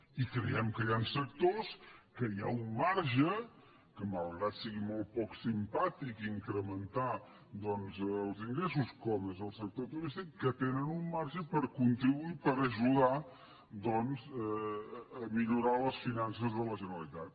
i creiem que hi han sectors en què hi ha un marge que malgrat que sigui molt poc simpàtic incrementar doncs els ingressos com és el sector turístic que tenen un marge per contribuir per ajudar doncs a millorar les finances de la generalitat